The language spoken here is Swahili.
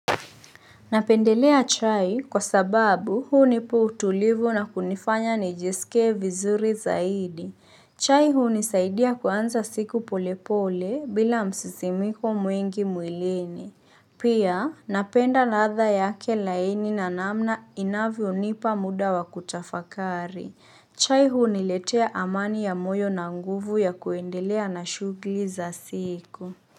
Napendelea chai kwa sababu hunipa utulivu na kunifanya nijisike vizuri zaidi. Chai hunisaidia kuanza siku polepole bila msisimiko mwingi mwilini. Pia napenda ladha yake laini na namna inavyonipa muda wa kutafakari. Chai huniletea amani ya moyo na nguvu ya kuendelea na shugli za siku.